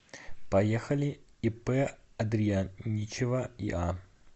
поехали ип андрияничева иа